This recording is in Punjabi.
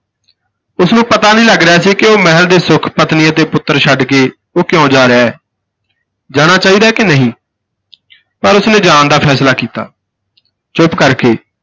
ਉਸਨੂੰ ਪਤਾ ਨਹੀਂ ਲੱਗ ਰਿਹਾ ਸੀ ਕਿ ਉਹ ਮਹਿਲ ਦੇ ਸੁੱਖ ਪਤਨੀ ਅਤੇ ਪੁੱਤਰ ਛੱਡ ਕੇ ਉਹ ਕਿਉਂ ਜਾ ਰਿਹਾ ਹੈ, ਜਾਣਾ ਚਾਹੀਦਾ ਹੈ ਕਿ ਨਹੀਂ। ਪਰ ਉਸਨੇ ਜਾਣ ਦਾ ਫੈਸਲਾ ਕੀਤਾ ਚੁੱਪ ਕਰਕੇ,